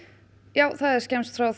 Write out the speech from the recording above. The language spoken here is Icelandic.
já það er skemmst frá